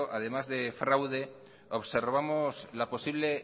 además de fraude observamos la posible